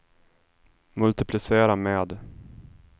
multiplicera med